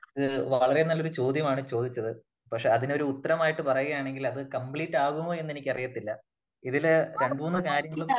ഒരു വളരെ നല്ലൊരു ചോദ്യമാണ് ചോദിച്ചത്. പക്ഷേ അതിന് ഒരു ഉത്തരമായിട്ട് പറയുകയാണെങ്കിൽ അത് കംപ്ലീറ്റ് ആകുമോ എന്ന് എന്നിക്കറിയത്തില്ല. ഇതില് രണ്ടു മൂന്ന് കാര്യങ്ങള്